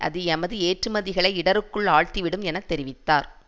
அது எமது ஏற்றுமதிகளை இடருக்குள் ஆழ்த்திவிடும் என தெரிவித்தார்